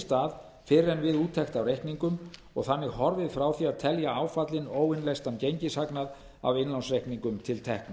stað fyrr en við úttekt af reikningum og þannig horfið frá því að telja áfallinn óinnleystan gengishagnað af innlánsreikningum til tekna